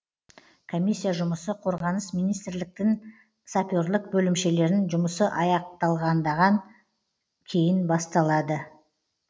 комиссия жұмысы қорғаныс министрліктігін саперлік бөлімшелерін жұмысы аяқталдаған кейін басталады